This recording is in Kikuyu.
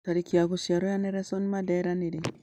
tarĩki ya gũciarwo ya nelson mandela nĩrĩ